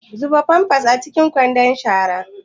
Zuba pampers a cikin kwandon shara.